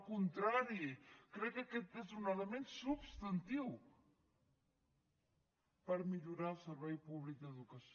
al contrari crec que aquest és un element substantiu per millorar el servei públic d’educació